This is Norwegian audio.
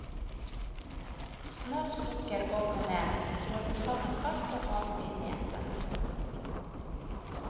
Smør, sukker og kanel røres sammen kaldt, og has inn i eplene.